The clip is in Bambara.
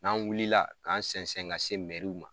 N'an wulila k'an sɛnsɛn ka se ma